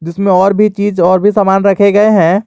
इसमें और भी चीज और भी सामान रखे गए हैं।